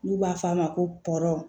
N'u b'a f'a ma ko tɔɔrɔ